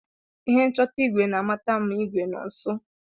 Ihe nchọta igwe na-amata ma igwe nọ nso.